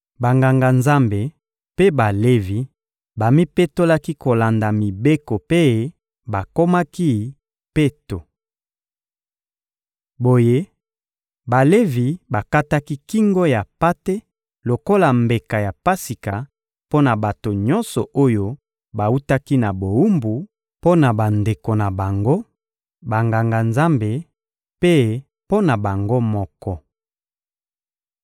Banganga-Nzambe mpe Balevi bamipetolaki kolanda mibeko mpe bakomaki peto. Boye Balevi bakataki kingo ya mpate lokola mbeka ya Pasika mpo na bato nyonso oyo bawutaki na bowumbu, mpo na bandeko na bango, Banganga-Nzambe, mpe mpo na bango moko.